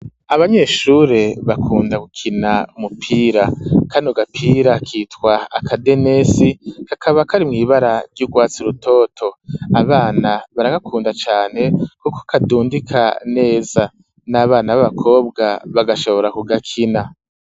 Abanyeshure bakunda gukina umupira, kano gapira kitwa akadenesi, kakaba kari mw'ibara ry'urwatsi rutoto, abana baragakunda cane kuko kadundika neza, n'abana b'abakobwa bagashobora kugakina.